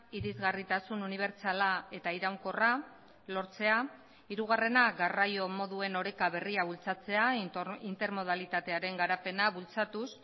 irisgarritasun unibertsala eta iraunkorra lortzea hirugarrena garraio moduen oreka berria bultzatzea intermodalitatearen garapena bultzatuz